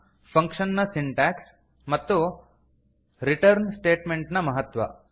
function ನ syntax ಮತ್ತು return statement ನ ಮಹತ್ವ